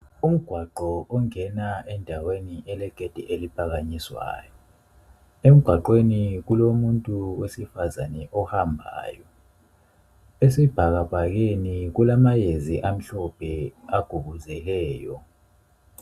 Umgwaqo ongena endaweni elegedi eliphakanyiswayo, emgwaqweni kulomuntu wesifazane ohambayo ,esibhakabhakeni kulamayezi amhlophe agubuzeleyo